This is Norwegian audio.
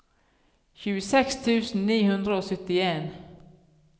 tjueseks tusen ni hundre og syttien